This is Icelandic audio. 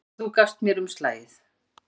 Þegar þú gafst mér umslagið.